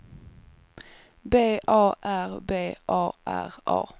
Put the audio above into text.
B A R B A R A